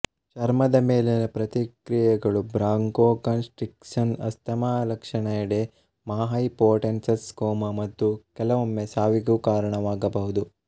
ಚರ್ಮದ ಮೇಲಿನ ಪ್ರತಿಕ್ರಿಯೆಗಳುಬ್ರಾಂಕೊಕನ್ ಸ್ಟ್ರಿಕ್ಸನ್ಸ್ ಆಸ್ತಮಾ ಲಕ್ಷಣಎಡೆಮಾಹೈಪೊಟೆನ್ಸನ್ ಕೋಮಾ ಮತ್ತು ಕೆಲವೊಮ್ಮೆ ಸಾವಿಗೂ ಕಾರಣವಾಗಬಹುದು